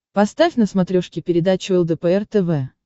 поставь на смотрешке передачу лдпр тв